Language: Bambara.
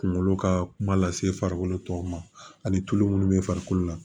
Kunkolo ka kuma lase farikolo tɔw ma ani tulu munnu bɛ farikolo la